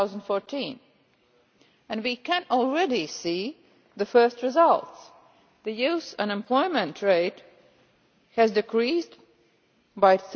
2014. We can already see the first results the youth unemployment rate decreased by